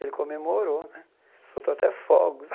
Ele comemorou né, soltou até fogos.